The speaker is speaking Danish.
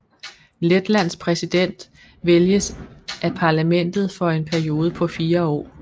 Letlands præsident vælges af parlamentet for en periode på fire år